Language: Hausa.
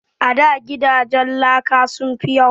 A da gidajen laka sun fi yawa